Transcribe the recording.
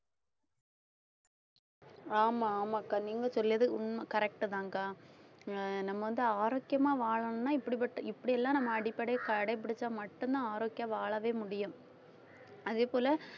ஆமா ஆமாக்கா நீங்க சொல்றது உண்மை correct தான்க்கா அஹ் நம்ம வந்து ஆரோக்கியமா வாழணும்னா இப்படிப்பட்ட இப்படியெல்லாம் நம்ம அடிப்படை கடைபிடிச்சா மட்டும்தான் ஆரோக்கியமா வாழவே முடியும் அதே போல